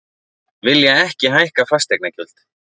Vilja ekki hækka fasteignagjöld